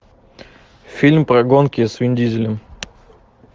фильм про гонки с вин дизелем